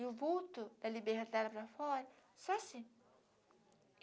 E o vulto, ele ela para fora, só assim.